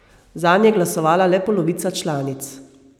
Zanj je glasovala le polovica članic.